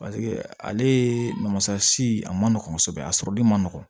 ale masa si a ma nɔgɔ kosɛbɛ a sɔrɔli ma nɔgɔn